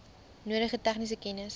nodige tegniese kennis